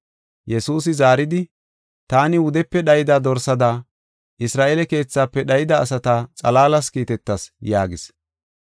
Yesuusi zaaridi, “Taani wudepe dhayida dorsada Isra7eele keethaafe dhayida asata xalaalas kiitetas” yaagis.